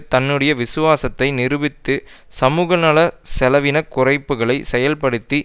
தன்னுடைய விசுவாசத்தை நிரூபித்து சமூக நல செலவின குறைப்புக்கள் செயல்படுத்தி